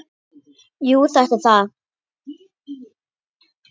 Jú, þetta er það.